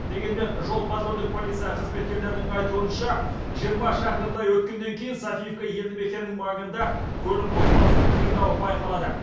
дегенмен жол патрульдік полиция қызметкерлерінің айтуынша жиырма шақырымдай өткеннен кейін софиевка елді мекенінің маңында көлік қозғалысының қиындауы байқалады